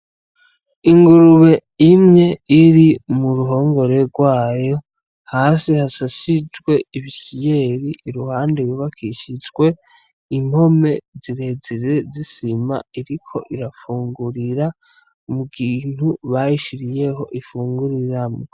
Ingurube imwe iri muruhongore rwayo hasi hasasijwe ibisiyeri, iruhande hubakishijwe impome zirezire z'isima, iriko irafungurira mukintu bayishiriyeho ifunguriramwo.